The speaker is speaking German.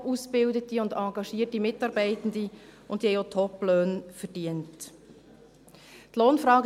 Wir haben top-ausgebildete und engagierte Mitarbeitende, die Top-Löhne verdient haben.